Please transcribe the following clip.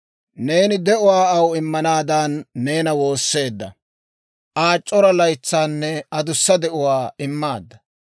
Neeni de'uwaa aw immanaadan neena woosseedda; Aw c'ora laytsaanne adussa de'uwaa immaadda.